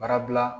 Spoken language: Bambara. Barabila